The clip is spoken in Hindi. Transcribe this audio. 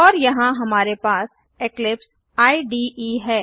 और यहाँ हमारे पास इक्लिप्स इडे है